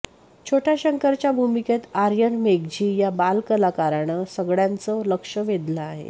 छोट्या शंकरच्या भूमिकेत आर्यन मेघजी या बालकलाकारानं सगळयांच लक्ष वेधलं आहे